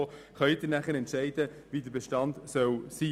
Wir sind am Anschlag, was man auch an den Überstundensaldi sieht.